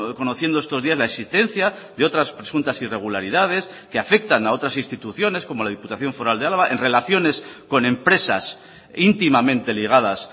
conociendo estos días la existencia de otras presuntas irregularidades que afectan a otras instituciones como la diputación foral de álava en relaciones con empresas íntimamente ligadas